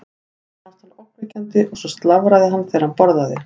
Mér fannst hann ógnvekjandi og svo slafraði hann þegar hann borðaði.